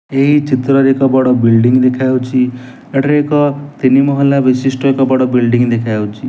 ଏହି ଚିତ୍ରରେ ଏକ ବଡ ବିଲ୍ଡିଂ ଦେଖାଯାଉଛି ଏଠାରେ ଏକ ତିନି ମହଲା ବିଶିଷ୍ଟ ଏକ ବଡ ବିଲ୍ଡିଂ ଦେଖାଯାଉଛି।